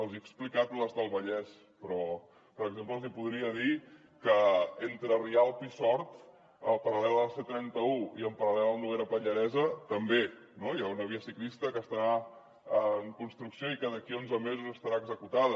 els hi he explicat les del vallès però per exemple els hi podria dir que entre rialp i sort en paral·lel a la c trenta un i en paral·lel al noguera pallaresa també hi ha una via ciclista que està en construcció i que d’aquí a onze mesos estarà executada